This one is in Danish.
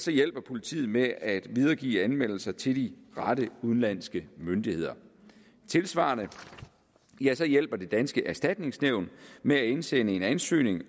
hjælper politiet med at videregive anmeldelse til de rette udenlandske myndigheder tilsvarende hjælper det danske erstatningsnævn med at indsende en ansøgning